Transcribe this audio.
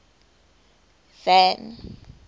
van